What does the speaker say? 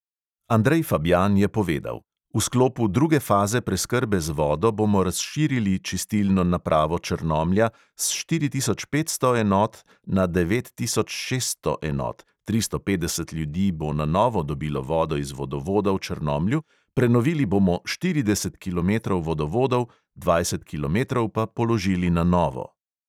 Andrej fabjan je povedal: "v sklopu druge faze preskrbe z vodo bomo razširili čistilno napravo črnomlja s štiri tisoč petsto enot na devet tisoč šeststo enot, tristo petdeset ljudi bo na novo dobilo vodo iz vodovoda v črnomlju, prenovili bomo štirideset kilometrov vodovodov, dvajset kilometrov pa položili na novo."